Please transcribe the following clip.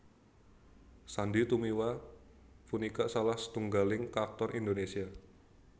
Sandy Tumiwa punika salah setunggaling aktor Indonésia